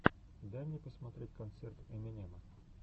дай мне посмотреть концерт эминема